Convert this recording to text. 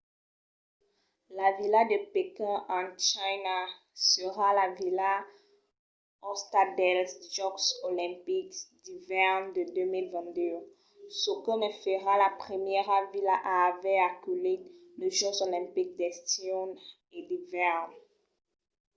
la vila de pequín en china serà la vila òsta dels jòcs olimpics d’ivèrn de 2022 çò que ne farà la primièra vila a aver aculhit los jòcs olimpics d’estiu e d’ivèrn